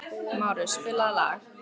Márus, spilaðu lag.